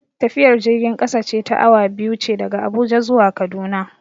Tafiyar jirgin kasa ce ta awa biyu ce daga Abuja zuwa Kaduna.